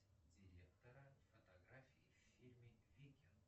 директора фотографии в фильме викинг